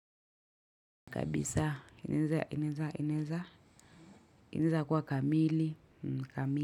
Kabisa inaweza inaweza inaweza inaweza kuwa kamili kamili.